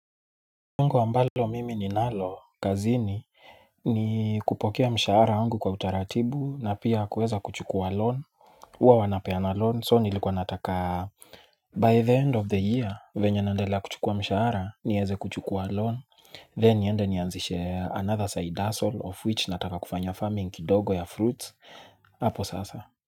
Langu ambalo mimi ninalo kazini ni kupokea mshahara wangu kwa utaratibu na pia kuweza kuchukua loan huwa wanapeana loan so nilikuwa nataka By the end of the year vyenye nandelea kuchukua mshahara nieze kuchukua loan Then niende nianzishe another side hustle of which nataka kufanya farming kidogo ya fruits hapo sasa.